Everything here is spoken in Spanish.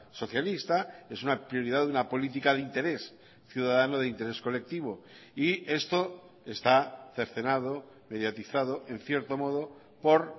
socialista es una prioridad de una política de interés ciudadano de interés colectivo y esto está cercenado mediatizado en cierto modo por